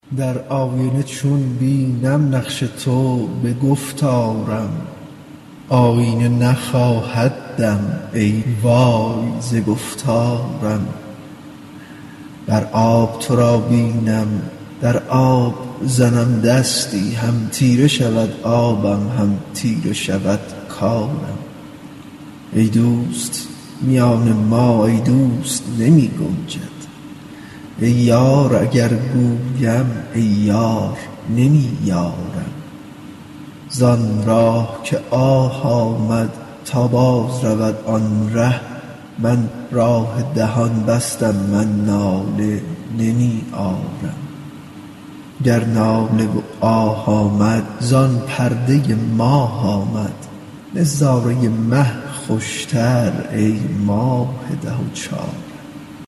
در آینه چون بینم نقش تو به گفت آرم آیینه نخواهد دم ای وای ز گفتارم در آب تو را بینم در آب زنم دستی هم تیره شود آبم هم تیره شود کارم ای دوست میان ما ای دوست نمی گنجد ای یار اگر گویم ای یار نمی یارم زان راه که آه آمد تا باز رود آن ره من راه دهان بستم من ناله نمی آرم گر ناله و آه آمد زان پرده ماه آمد نظاره مه خوشتر ای ماه ده و چارم